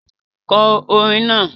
Kọ orin náà!